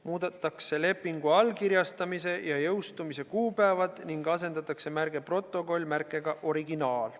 Muudetakse lepingu allkirjastamise ja jõustumise kuupäevi ning asendatakse märge "Protokoll" märkega "Originaal".